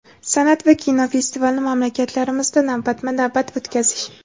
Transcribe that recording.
san’at va kino festivalini mamlakatlarimizda navbatma-navbat o‘tkazish;.